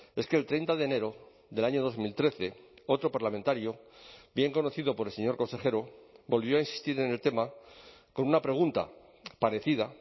es que el treinta de enero del año dos mil trece otro parlamentario bien conocido por el señor consejero volvió a insistir en el tema con una pregunta parecida